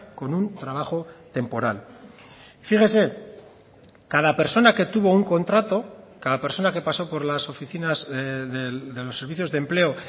con un trabajo temporal fíjese cada persona que tuvo un contrato cada persona que pasó por las oficinas de los servicios de empleo